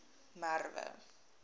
merwe